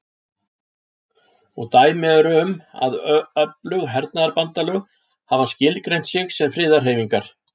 Og dæmi eru um að öflug hernaðarbandalög hafi skilgreint sig sem friðarhreyfingar.